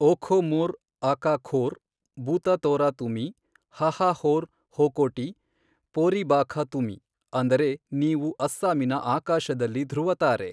ಓಖೋಮೋರ್ ಅಕಾಖೋರ್, ಭೂತತೋರಾ ತುಮಿ, ಹಹಾಹೋರ್ ಹೊಕೋಟಿ, ಪೋರಿಭಾಖಾ ತುಮಿ, ಅಂದರೆ ನೀವು ಅಸ್ಸಾಮಿನ ಆಕಾಶದಲ್ಲಿ ಧೃವತಾರೆ.